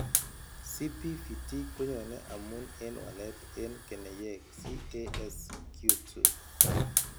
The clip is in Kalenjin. CPVT koyoone amun en walet en keneyeek CASQ2.